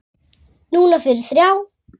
Núna fyrir þrjá.